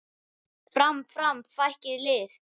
Fram, fram, frækið lið!